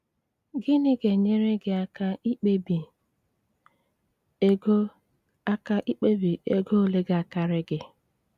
Gịnị ga-enyere gị aka ikpebi ego aka ikpebi ego ole ga-akarị gị?